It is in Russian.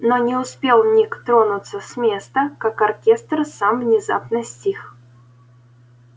но не успел ник тронуться с места как оркестр сам внезапно стих